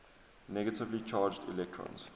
negatively charged electrons